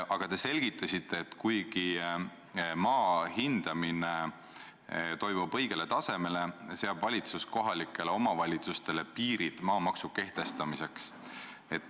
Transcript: Aga te selgitasite, et kuigi toimub maa hindamine, et saavutada õige tase, seab valitsus kohalikele omavalitsustele piirid maamaksu kehtestamisel.